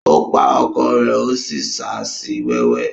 Ó pa ọkọ rẹ̀ ó sì ṣa sí wẹ́wẹ́.